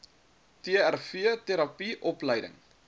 trv terapie opleiding